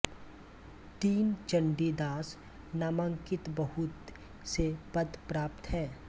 दीन चंडीदास नांमाकित बहुत से पद प्राप्त हैं